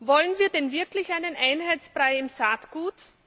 Wollen wir denn wirklich einen Einheitsbrei im Saatgut?